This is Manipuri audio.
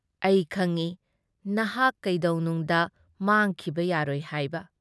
ꯑꯩ ꯈꯪꯏ ꯅꯍꯛ ꯀꯩꯗꯧꯅꯨꯡꯗ ꯃꯥꯡꯈꯤꯕ ꯌꯥꯔꯣꯏ ꯍꯥꯏꯕ ꯫